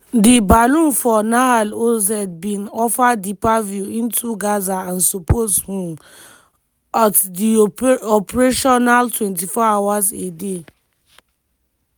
di balloon for nahal oz bin offer deeper view into gaza and suppose um ot deyoperational 24 hours a day.